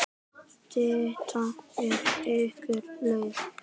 Stytta ykkur leið!